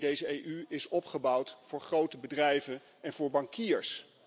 Nee, deze EU is opgebouwd voor grote bedrijven en voor bankiers.